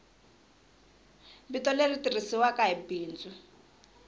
vito leri tirhisiwaku hi bindzu